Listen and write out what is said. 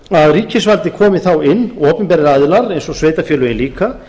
að ríkisvaldið komi þá inn og opinberir aðilar eins og sveitarfélögin líka